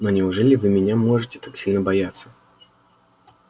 но неужели вы меня можете так сильно бояться